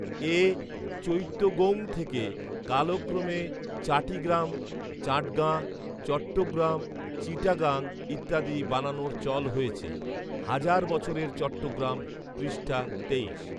এ চৈত্তগৌং থেকে কালক্রমে চাটিগ্রাম, চাটগাঁ, চট্টগ্রাম, চিটাগাং ইত্যাদি বানানের চল হয়েছে হাজার বছরের চট্টগ্রাম, পৃষ্ঠা তেইশ